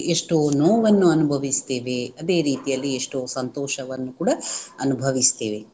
ಎಷ್ಟೋ ನೋವನ್ನು ಅನುಭವಿಸ್ತೇವೆ ಅದೇ ರೀತಿಯಲ್ಲಿ ಎಷ್ಟೋ ಸಂತೋಷವನ್ನು ಕೂಡಾ ಅನುಭವಿಸುತ್ತೇವೆ.